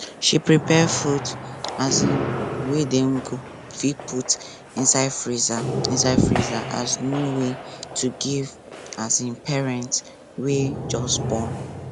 she prepare food um wey dem fit put inside freezer inside freezer as new way to give um parents wey just born